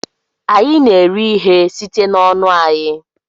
Anyị na-eri ihe site n'ọnụ anyị